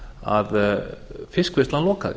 að fiskvinnslan lokaði